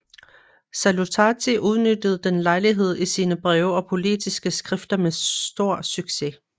Salutati udnyttede den lejlighed i sine breve og politiske skrifter med stor succes